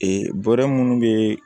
bɔrɛ munnu be